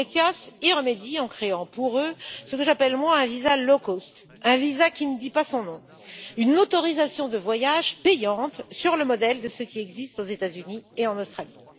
ETIAS y remédie en créant pour eux ce que j'appelle un visa low cost un visa qui ne dit pas son nom, une autorisation de voyage payante, sur le modèle de ce qui existe aux États Unis et en Australie.